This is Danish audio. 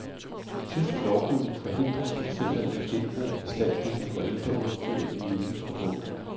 Tysk lovgivning forhindrer producenter i at genbruge bestanddele fra ældre udstyr i nye produkter.